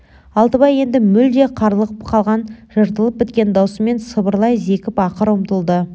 алтыбай енді мүлде қарлығып қалған жыртылып біткен даусымен сыбырлай зекіп ақырып ұмтылды